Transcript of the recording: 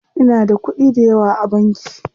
Inada kuɗi dayawa a banki.